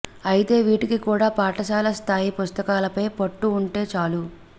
అయితే వీటికి కూడా పాఠశాల స్థాయి పుస్తకాలపై పట్టు ఉంటే చాలు